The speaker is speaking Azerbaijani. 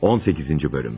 18-ci bölüm.